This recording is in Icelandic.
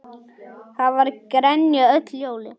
Það var grenjað öll jólin.